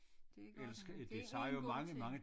Det er godt det er én god ting